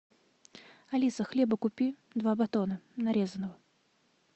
алиса хлеба купи два батона нарезанного